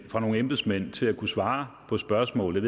fra nogle embedsmænd til at kunne svare på spørgsmålet